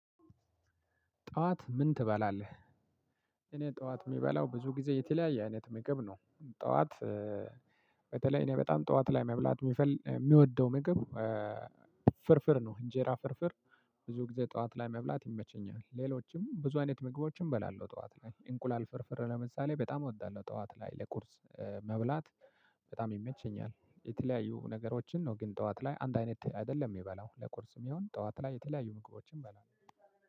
ጠዋት ምን ትበላለህ? እኔ ጠዋት እሚበላው ብዙ ጊዜ የተለያየ አይነት ምግብ ነው። ጠዋት በተለይ እኔ በጣም ጠዋት ላይ መብላት እሚወደው ምግብ። ፍርፍር ነው እንጀራ ፍርፍር። ሁልጊዜ ጠዋት ላይ መብላት ይመቸኛል ሌሎችም ብዙ አይነት ምግቦች እባላለሁ። ጠዋት ላይ እንቁላል ፍርፍር አሁን ለምሳሌ በጣም እወዳለሁ ጠዋት ላይ ለቁርስ መብላት። በጣም ይመቸኛል የተለያዩ ነገሮችን ነው ግን ጠዋት ላይ አንድ አይነት አይደለም። የምበላው